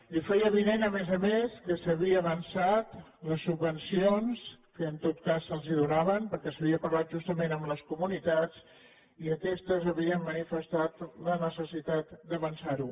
li feia avinent a més a més que s’havien avançat les subvencions que en tot cas se’ls donaven perquè s’havia parlat justament amb les comunitats i aquestes havien manifestat la necessitat d’avançar ho